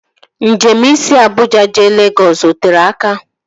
Njem isi Abuja jee Legọs o tere aka?